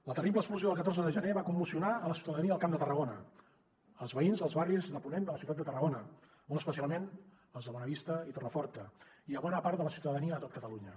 la terrible explosió del catorze de gener va commocionar la ciutadania del camp de tarragona els veïns dels barris de ponent de la ciutat de tarragona molt especialment els de bonavista i torreforta i bona part de la ciutadania de tot catalunya